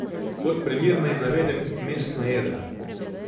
Kot primer naj navedem mestna jedra.